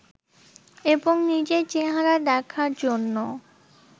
এবং নিজের চেহারা দেখার জন্য